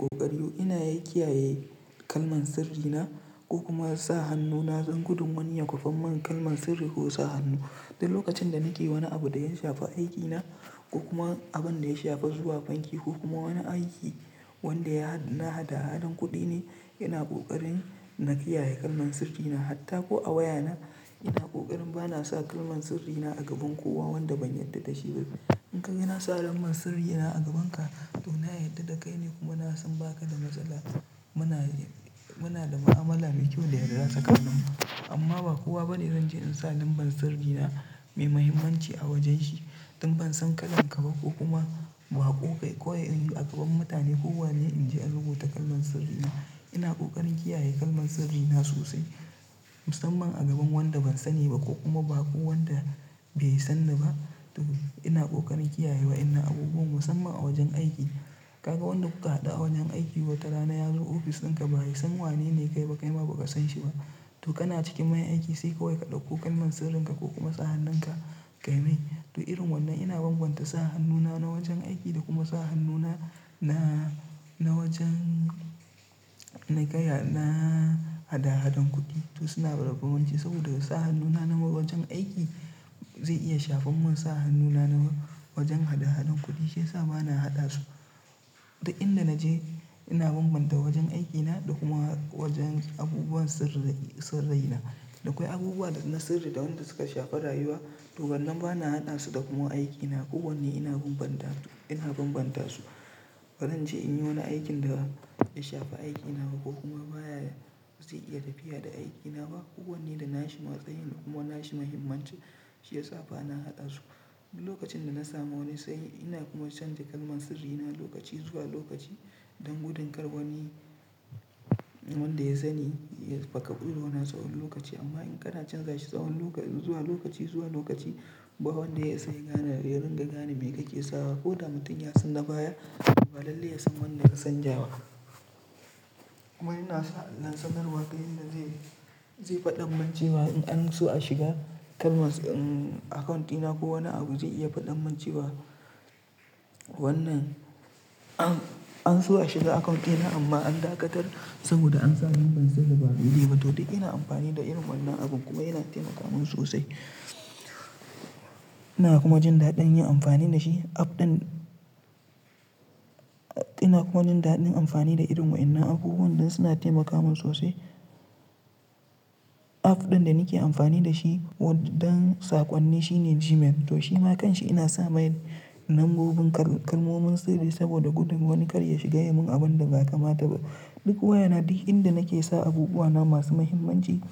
Ƙoƙari ina ya ƙiyayye kalman sirri na ko kuma sa hannu na don gudun wani ya kwafan man kalman sirri ko sa hannu. Duk lokacin da nake wani abu da ya shafi aikina ko kuma abin da ya shafi zuwa banki ko kuma wani aiki wanda ya na hada hadan kuɗi ne, ina ƙoƙarin na kiyaye kalman sirri na. Hatta ko a wayana ina ƙoƙarin bana sa kalman sirri na a gaban kowa wanda ban yanda da shi ba. In ka gan na sa lamban sirri na a gabanka to na yarda da kai ne kuma na san baka da matsala. Muna Muna da mu'amala mai kyau da yarda tsakaninmu. Amma ba kowa bane zan je in sa lambar sirri na mai mahimmanci a wajen shi don ban san kallon ka ba ko kuma ba ƙoƙai koyar in yi a gaban mutane. Ko wane in je in rubuta kalman sirri na. Ina ƙoƙarin kiyaye kalman sirri na sosai musamman a gaban wanda ban sani ba ko kuma bako wanda bai san ni ba. To ina ƙoƙarin kiyaye wa'inna abubuwan musamman a wajen aiki. Kaga wanda kuka haɗa a wajen aiki watarana yazo ofis ɗinka ba yi san wanene kai ba kaima ba ka san shi ba. To kana cikin maye aiki sai kawai ka ɗauko kalman sirrin ka ko kuma sa hannun ka kai mai. To irin wannan ina bambanta sa hannuna na wajen aiki da kuma sa hannuna na, na wajen na gaya na hada hadan kuɗi. To suna da babbanci saboda sa hannuna na wajen aiki zai iya shafan man sa hannuna na wajen hada hadan kuɗi shiyasa bana haɗa su. Duk inda naje ina bambanta wajen aikina da kuma wajen abubuwan sirri, sirri na. Da akwai abubuwa da na sirri da wanda suka shafi rayuwa to wannan ba na haɗa su da kuma aikina. Ko wane ina bambanta, ina bambanta su. Ban rance in yi wani aikin da ya shafi aiki na ba ko kuma baya zai iya tafiya da aiki na ba. Ko wane da na shi matsayi da kuma na shi muhimmanci shiyasa bana haɗa su. Duk lokacin da na samu wani tsayi ina kuma canza kalman sirri na lokaci zuwa lokaci don gudun kar wani wanda ya san ni ya fakabuɗe wani tsawon lokaci. Amma in kana canza shi tsawon lokaci, zuwa lokaci, zuwa lokaci ba wanda ya isa ya gane, ya ringa gane me kake sawa. Ko da mutun ya san na baya ba lalle yasan wannan ya sanja ba. Kuma ina sa sanarwa ta inda zai, zai faɗanmancewa in an so a shiga kalma, uhm account ɗina ko wani abu zai iya faɗanmancewa. Wannan an, an so a shiga account ɗina amma an dakatar saboda an sa lambar sirri ba a buɗe ba. To dai ina amfani da irin wannan abun kuma yana taimaka min sosai. Ina kuma jin daɗin yin amfani da shi. App ɗin, ina kuma jin daɗin amfani da irin wa'innan abubuwan ɗin suna taimaka min sosai. App ɗin da nake amfani da shi don saƙonni shine Gmail. To shi ma kanshi ina sa mai lambobin kalmomin sirri saboda gudun wani kar ya shiga ya mun abun da ba kamata ba. Duk wayana duk inda nake sa abubuwa na masu muhimmanci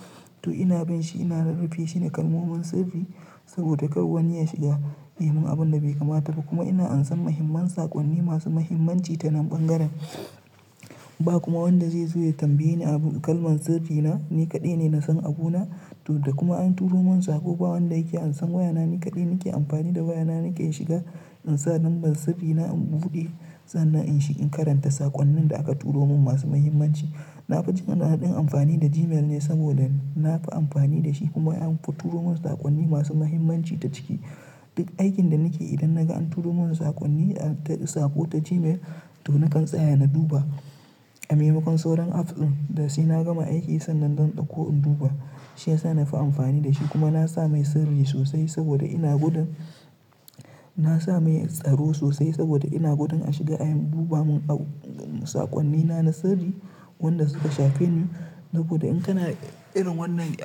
to ina bin shi ina rurufe shi da kalmomin sirri saboda kar wani ya shiga ya mun abun da bai kamata ba. Kuma ina ansa muhimman saƙonni masu muhimmanci ta nan bangaren. Ba kuma wanda zai zo ya tambaye ni abun kalman tsafi na. Ni kaɗai ne na san abuna to da kuma an turo mun saƙo ba wanda yake ansan wayana. Ni kaɗai nake amfani da wayana nake in shiga in sa lambar sirri na in buɗe sannan in shi in karanta saƙonnin da aka turo mun masu muhimmanci. Na fi jin daɗin amfani da Gmail ne saboda na fi amfani da shi kuma an fi turo mun saƙonni masu muhimmanci ta ciki. Duk aikin da nake idan na ga an turo mun saƙonni ta saƙo ta Gmail to nakan tsaya na duba. A maimakon sauran app ɗin da sai na gama aiki sannan zan ɗauko in duba shiyasa na fi amfani da shi kuma na sa mai sirri sosai saboda ina gudun, na sa mai tsaro sosai saboda ina gudun a shiga a duba mun ab, saƙonnina na sirri. Wanda suka shafi ni saboda in kana irin wannan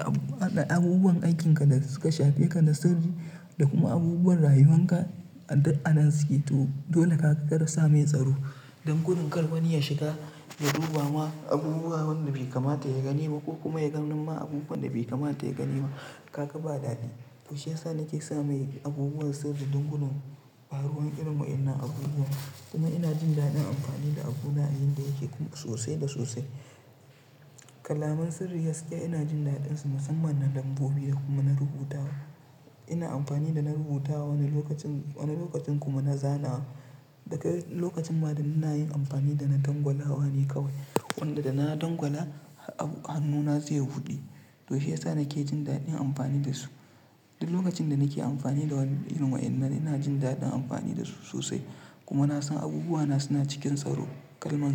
abubuwan aikinka da suka shafe ka na sirri da kuma abubuwan rayuwan ka a duk a nan suke. To, dole ka karasa mai tsaro don gudun kar wani ya shiga ya duba ma abubuwa wanda bai kamata ya gani ba ko kuma ya ganni ma abubuwan da bai kamata ya gani ba. Kaka ba dadi. To shiyasa nake sa mai abubuwan sirri don gudun ɓaruwan irin wa'innan abubuwa. Kuma ina jin daɗin amfani da abuna inda yake sosai da sosai. Kalaman sirri gaskiya ina jin daɗin su musamman na lambobi da kuma na rubutawa. Ina amfani da na rubutawa wani lokacin, wani lokacin kuma na zanawa. Daka lokacin ma da ina yin amfani da na dangwalawa ne kawai. Wanda da na dangwala abu, hannuna zai buɗe. To shiyasa nake jin daɗin amfani da su. Duk lokacin da nake amfani da wannan irin wa'innan ina jin daɗin amfani da su sosai. Kuma na san abubuwa na suna cikin tsaro. Kalman.